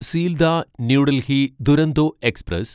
Sealdah New Delhi Duronto express